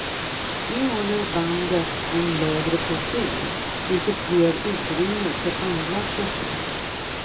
Nu håller bandet en lägre profil, vilket ger utrymme för andra projekt.